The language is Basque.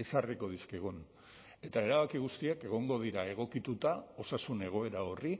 ezarriko dizkigun eta erabaki guztiak egongo dira egokituta osasun egoera horri